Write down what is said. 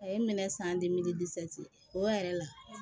A ye n minɛ san o yɛrɛ la